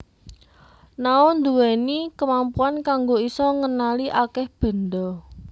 Nao ndhuwèni kemampuan kanggo isa ngenali akèh benda